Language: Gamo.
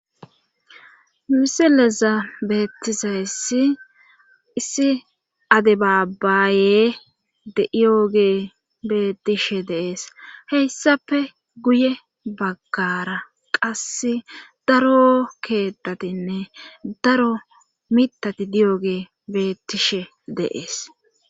misileza beettizayssi issi ade baabaye de7iyogee bettishe dee'es heyssafe guye baggara qas daro keettatinne daro mitati diyoge beettishe deees